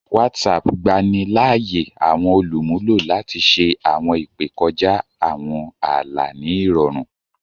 Whatsapp gbani láàyè àwọn olumulo lati ṣe awọn ìpè kọjá àwọn ààlà ní irọrun